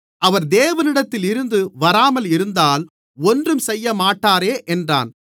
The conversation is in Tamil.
அவர் தேவனிடத்தில் இருந்து வராமல் இருந்தால் ஒன்றும் செய்யமாட்டாரே என்றான்